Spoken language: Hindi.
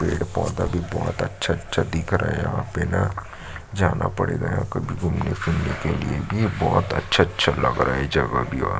पेड़-पौधा भी बहुत अच्छा-अच्छा दिख रहा है यहाँ पे न जाना पड़ेगा कभी घूमने-फिरने के लिए भी बहुत अच्छा-अच्छा लग रहा है ये जगह भी और--